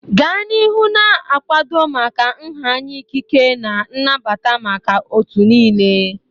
Gaa n'ihu na-akwado maka nha anya ikike na nnabata maka otu niile.